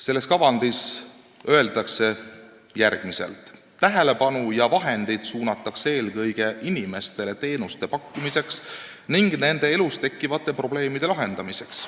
Selles kavandis öeldakse järgmiselt: "Tähelepanu ja vahendid suunatakse eelkõige inimestele teenuste pakkumiseks ning nende elus tekkivate probleemide lahendamiseks.